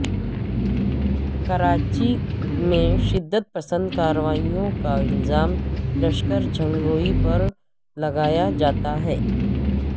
کراچی میں شدت پسند کارروائیوں کا الزام لشکر جھنگوی پر لگایا جاتا ہے